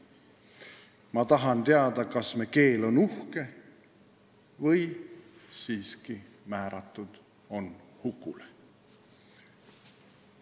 Ma tahan teada kas me keel on uhke või siiski määratud on hukule?